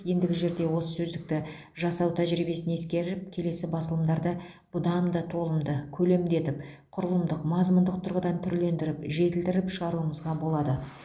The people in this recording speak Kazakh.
ендігі жерде осы сөздікті жасау тәжірибесін ескеріп келесі басылымдарды бұдан да толымды көлемді етіп құрылымдық мазмұндық тұрғыдан түрлендіріп жетілдіріп шығаруымызға болады